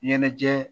Ɲɛnajɛ